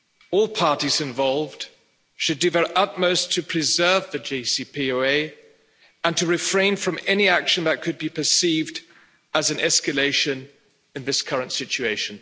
All parties involved should do their utmost to preserve the JCPOA and to refrain from any action that could be perceived as an escalation in this current situation.